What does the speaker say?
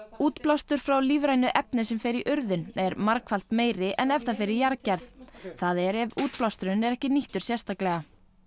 útblástur frá lífrænu efni sem fer í urðun er margfalt meiri en ef það fer í jarðgerð það er ef útblásturinn er ekki nýttur sérstaklega